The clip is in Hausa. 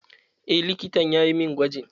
Eh, likitan yayi mun gwajin.